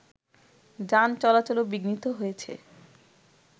যান চলাচলও বিঘ্নিত হয়েছে